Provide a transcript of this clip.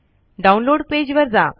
download page वर जा